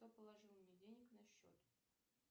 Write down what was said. кто положил мне денег на счет